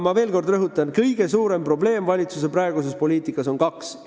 Ma veel kord rõhutan, et kõige suuremaid probleeme valitsuse praeguses poliitikas on kaks.